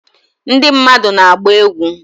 Ndị mmadụ na-agba egwu